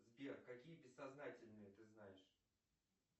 сбер какие бессознательные ты знаешь